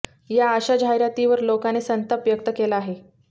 या अशा जाहिरातीवर लोकांने संताप व्यक्त केला आहे